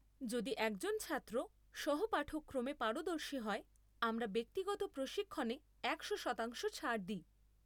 যদি একজন ছাত্র সহ পাঠক্রমে পারদর্শী হয়, আমরা ব্যক্তিগত প্রশিক্ষণে একশো শতাংশ ছাড় দিই।